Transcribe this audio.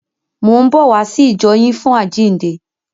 Mò ń bọ̀ wá sí ìjọ yín fún àjíǹde.